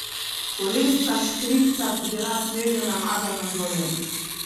Kolesca škripca so bila sveže namazana z oljem.